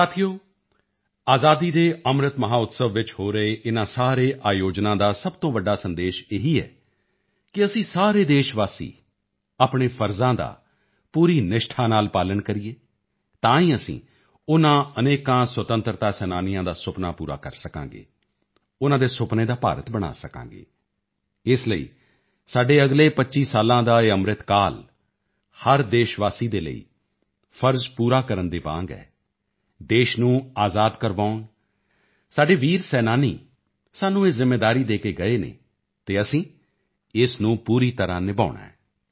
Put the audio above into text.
ਸਾਥੀਓ ਆਜ਼ਾਦੀ ਕੇ ਅੰਮ੍ਰਿਤ ਮਹੋਤਸਵ ਵਿੱਚ ਹੋ ਰਹੇ ਇਨ੍ਹਾਂ ਸਾਰੇ ਆਯੋਜਨਾਂ ਦਾ ਸਭ ਤੋਂ ਵੱਡਾ ਸੰਦੇਸ਼ ਇਹ ਹੀ ਹੈ ਕਿ ਅਸੀਂ ਸਾਰੇ ਦੇਸ਼ਵਾਸੀ ਆਪਣੇ ਫ਼ਰਜ਼ਾਂ ਦਾ ਪੂਰੀ ਨਿਸ਼ਠਾ ਨਾਲ ਪਾਲਣ ਕਰੀਏ ਤਾਂ ਹੀ ਅਸੀਂ ਉਨ੍ਹਾਂ ਅਨੇਕਾਂ ਸੁਤੰਤਰਤਾ ਸੈਨਾਨੀਆਂ ਦਾ ਸੁਪਨਾ ਪੂਰਾ ਕਰ ਸਕਾਂਗੇ ਉਨ੍ਹਾਂ ਦੇ ਸੁਪਨੇ ਦਾ ਭਾਰਤ ਬਣਾ ਸਕਾਂਗੇ ਇਸ ਲਈ ਸਾਡੇ ਅਗਲੇ 25 ਸਾਲਾਂ ਦਾ ਇਹ ਅੰਮ੍ਰਿਤ ਕਾਲ ਹਰ ਦੇਸ਼ਵਾਸੀ ਦੇ ਲਈ ਫ਼ਰਜ਼ ਪੂਰਾ ਕਰਨ ਦੇ ਵਾਂਗ ਹੈ ਦੇਸ਼ ਨੂੰ ਆਜ਼ਾਦ ਕਰਵਾਉਣ ਸਾਡੇ ਵੀਰ ਸੈਨਾਨੀ ਸਾਨੂੰ ਇਹ ਜ਼ਿੰਮੇਵਾਰੀ ਦੇ ਕੇ ਗਏ ਹਨ ਅਤੇ ਅਸੀਂ ਇਸ ਨੂੰ ਪੂਰੀ ਤਰ੍ਹਾਂ ਨਿਭਾਉਣਾ ਹੈ